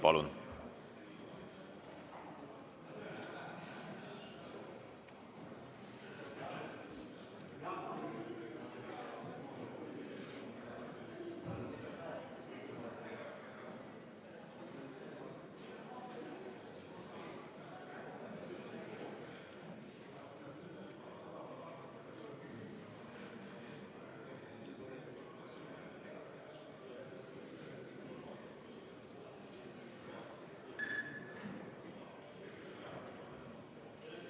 Palun!